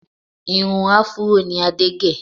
Irun áfúró ni Adé gẹ̀